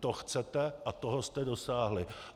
To chcete a toho jste dosáhli.